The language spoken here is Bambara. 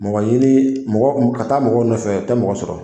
Mɔgɔ ɲini mɔgɔ ka taa mɔgɔw nɔfɛ o tɛ mɔgɔ sɔrɔ